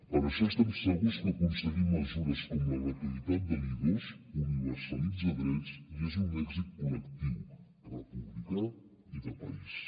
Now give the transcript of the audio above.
per això estem segurs que aconseguir mesures com la gratuïtat de l’i2 universalitza drets i és un èxit col·lectiu republicà i de país